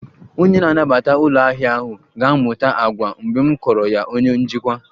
Onye na-anabata ụlọ ahịa ahụ ga-amụta àgwà mgbe m kọọrọ ya onye njikwa